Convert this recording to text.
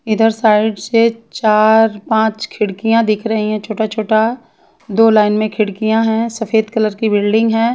इधर साइड से चार पांच खिड़कियां दिख रही है छोटा छोटा दो लाइन में खिड़कियां है सफ़ेद कलर की बिल्डिंग है।